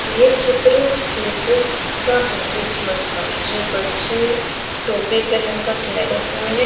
ये चित्र जिजस का है क्रिसमसका जो बच्चे टोपी पेहनकर ठहरे हुए है।